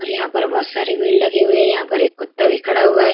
और यहाँ पर बहोत सारी भीड़ लगी हुई है। यहाँ पर एक कुत्ता भी खड़ा हुआ है।